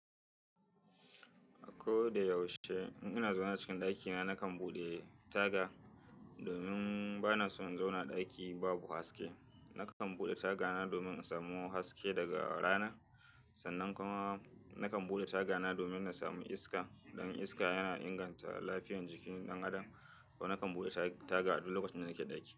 Ko da yaushe, in ina zauna cikin ɗakina nakan buɗe taga domin bana son in zauna ɗaki babu haske. Nakan buɗe tagana domin in samu haske daga rana sannan kuma nakan buɗe tagana domin na samu iska. Dan iska yana inganta lafiyar jikin ɗan adam. To nakan buɗe taga a duk lokacin da nake ɗaki.